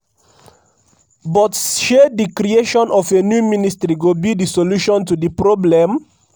but shey di creation of a new ministry go be di solution to di problem?